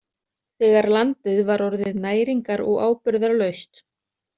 Þegar landið var orðið næringar- og áburðarlaust.